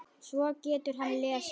Svo getur hann lesið.